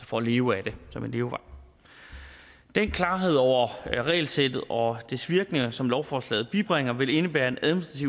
for at leve af det som en levevej den klarhed over regelsættet og dets virkninger som lovforslaget bibringer vil indebære en